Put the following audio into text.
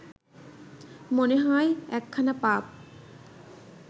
মনে হয় একখানা পাব